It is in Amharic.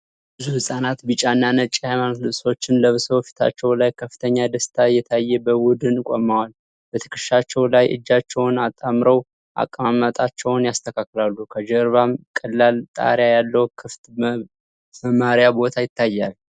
ብዙ ሕፃናት ቢጫና ነጭ የሃይማኖት ልብሶችን ለብሰው፤ ፊታቸው ላይ ከፍተኛ ደስታ እየታየ በቡድን ቆመዋል። በትከሻቸው ላይ እጃቸውን አጣምረው አቀማመጣቸውን ያስተካክላሉ፤ ከጀርባውም ቀላል ጣሪያ ያለው ክፍት መማሪያ ቦታ ይታያል።